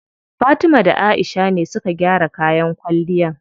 Fatima da Aisha ne suka gyara kayan kwalliyan.